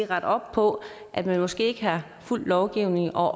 rette op på at man måske ikke har fulgt lovgivningen og